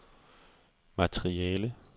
materiale